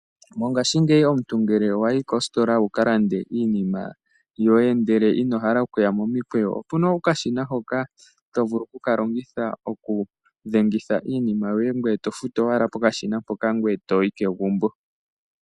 Mongashingeyi omuntu ngele wa yi kositola wu ka lande iinima yoye ndele ino hala okuya momikweyo, opu na okashina hoka to vulu oku ka longitha okudhengitha iinima yoye ngoye to futu owala pokashina mpoka ngoye to yi kegumbo.